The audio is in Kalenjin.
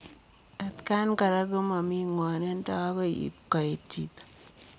Atakaan koraa komamii ngwanindoo agoi ipkoet chitoo.